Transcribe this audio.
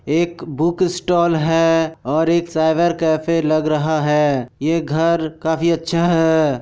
एक book stall है और एक साइबर कैफ़े लग रहा है ये घर काफी अच्छा है।